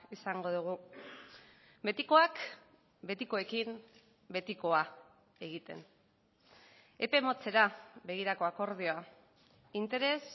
izango dugu betikoak betikoekin betikoa egiten epe motzera begirako akordioa interes